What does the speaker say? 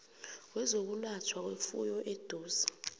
wezokwelatjhwa kwefuyo oseduze